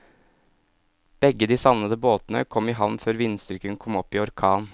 Begge de savnede båtene kom i havn før vindstyrken kom opp i orkan.